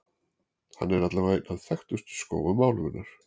Hann er allavega einn af þekktustu skógum álfunnar.